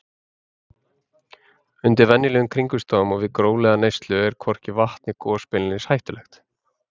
Undir venjulegum kringumstæðum og við hóflega neyslu er hvorki vatn né gos beinlínis hættulegt.